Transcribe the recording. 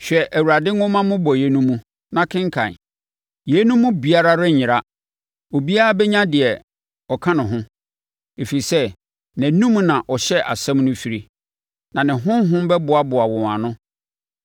Hwɛ Awurade nwoma mmobɔeɛ no mu, na kenkan: Yeinom mu biara renyera, obiara bɛnya deɛ ɔka ne ho. Ɛfiri sɛ nʼanom na ɔhyɛ asɛm no firie, na ne honhom bɛboaboa wɔn ano.